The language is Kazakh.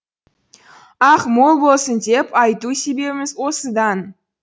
ақ мол болсын деп айту себебіміз осыдан